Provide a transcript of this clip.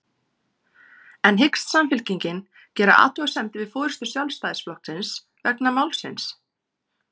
En hyggst Samfylkingin gera athugasemdir við forystu Sjálfstæðisflokksins vegna málsins?